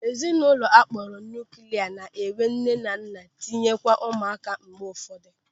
Ezinụlọ akpọrọ nuuklia na-enwe nne na nna tinyere ụmụaka mgbe ụfọdụ.